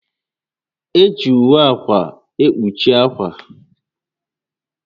Eji ùwé ákwà ekpuchi ákwà